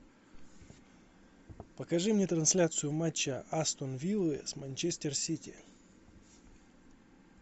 покажи мне трансляцию матча астон виллы с манчестер сити